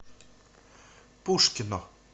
пушкино